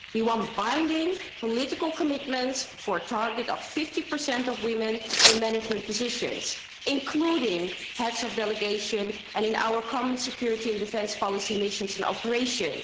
We want binding political commitments for a target of 50 of women in management positions, including heads of delegation and in our common security and defence policy missions and operations.